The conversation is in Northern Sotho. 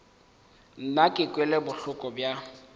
nna ke kwele bohloko bja